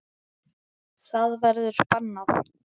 Það verður bannað.